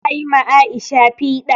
Za a yi ma Aisha piɗa